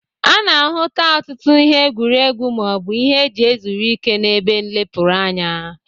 A na-ahụta ọtụtụ ihe egwuregwu ma ọ bụ ihe e ji ezuru ike n'ebe nlepụrụ anya.